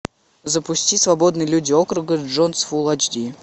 запусти свободные люди округа джонс фул айч ди